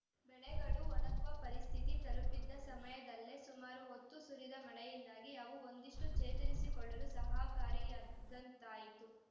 ಬೆಳೆಗಳು ಒಣಗುವ ಪರಿಸ್ಥಿತಿ ತಲುಪಿದ್ದ ಸಮಯದಲ್ಲೇ ಸುಮಾರು ಹೊತ್ತು ಸುರಿದ ಮಳೆಯಿಂದಾಗಿ ಅವು ಒಂದಿಷ್ಟುಚೇತರಿಸಿಕೊಳ್ಳಲು ಸಹಕಾರಿಯಾದಂತಾಯಿತು